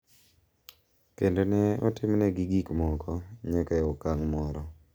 Kendo ne otimnegi gik moko nyaka e okang’ moro.